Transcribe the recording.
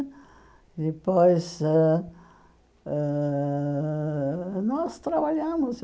Depois, ãh ãh nós trabalhamos.